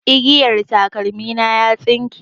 Igiyan takalmi na ya tsinke